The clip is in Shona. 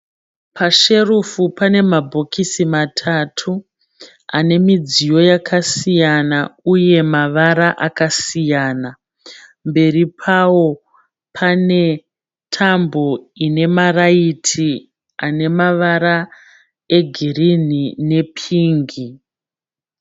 Pasherufu pane mabhokisi matatu ane midziyo yakasiyana uye mavara akasiyana mberi pawo pane tambo ine maraiti ane mavara egirini nepingi.